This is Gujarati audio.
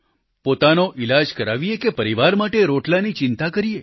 પોતાનો ઈલાજ કરાવીએ કે પરિવાર માટે રોટલાની ચિંતા કરીએ